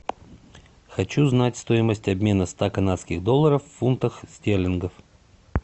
хочу знать стоимость обмена ста канадских долларов в фунтах стерлингов